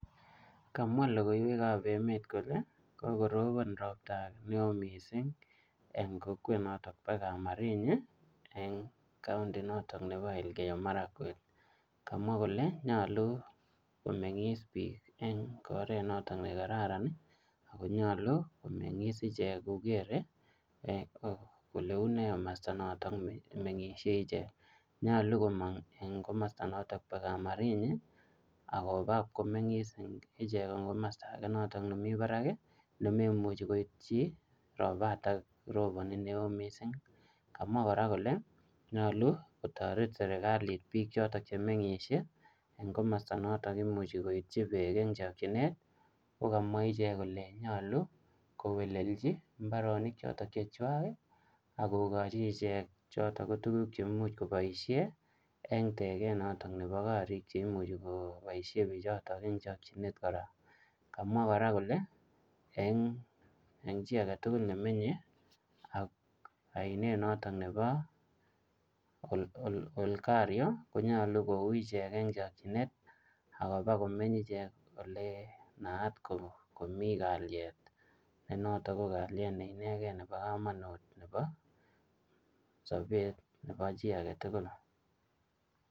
Kamwa logoiywek ab emet kole kokoropon ropta neo missing en kokwonot bo kamarinyi en county noton nobo Elkeiyo maragwek kamwa kole nyolu komengis beek en oret noto ne kararan akonyolu komengis ichek kokere kole unee komosto noton mengishe ichek. Nyolu komong en komosto noton bo kamarinyi akoba komengis ichek en komosto noton nemii barak kii nemomuchi koityo ropaton roponi neo missing. Kamwa Koraa kole nyolu kotoret serikali bik choton chemgishe en komosto noton imuchi koityi bek en chokinet ko kamwa ichek kole nyolu kowelelchi imbaronik choton che chwak kii akokochi ichek choto tukuk cheimuch koboishen en teket noton nebo korik cheimuchi koboishen bichoton en chokinet koraa. Kamwa Koraa kole en chii agetukul nemenye ak oinet noton nebo ol olkario konyolu kowichek en chokinet akoba kimeny ichek ole naat komii kalyet noton ko kalyet neinegen nebo komonut nebo sobet nebo chii agetukul.